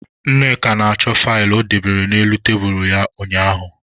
Nneka na-achọ faịlụ o dobere n'elu tebulu ya ụnyaahụ.